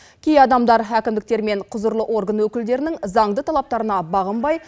кей адамдар әкімдіктер мен құзырлы орган өкілдерінің заңды талаптарына бағынбай